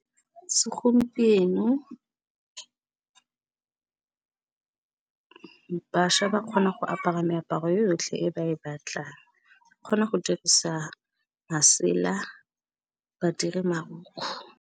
Segompieno bašwa ba kgona go apara meaparo yotlhe e ba e batlang, kgona go dirisa masela badiri marukgu.